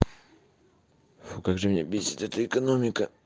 как же меня мне бесит это экономика